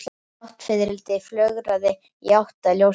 Náttfiðrildi flögraði í átt að ljósinu.